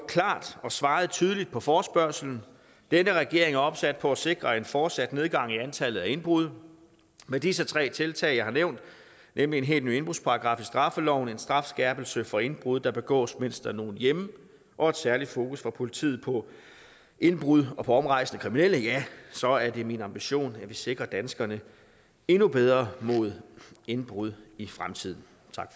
klart og svaret tydeligt på forespørgslen denne regering er opsat på at sikre en fortsat nedgang i antallet af indbrud med disse tre tiltag jeg har nævnt nemlig en helt ny indbrudsparagraf i straffeloven en strafskærpelse for indbrud der begås mens der er nogen hjemme og et særligt fokus fra politiet på indbrud og på omrejsende kriminelle ja så er det min ambition at vi sikrer danskerne endnu bedre mod indbrud i fremtiden